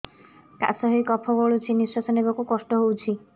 କାଶ ହେଇ କଫ ଗଳୁଛି ନିଶ୍ୱାସ ନେବାକୁ କଷ୍ଟ ହଉଛି